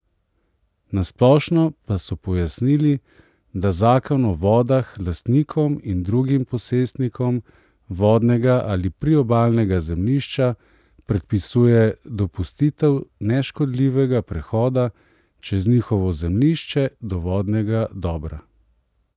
Na splošno pa so pojasnili, da zakon o vodah lastnikom in drugim posestnikom vodnega ali priobalnega zemljišča predpisuje dopustitev neškodljivega prehoda čez njihovo zemljišče do vodnega dobra.